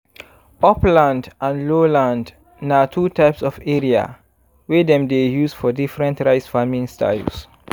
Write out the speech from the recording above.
upland and lowland na two types of area wey dem dey use for different rice farming styles.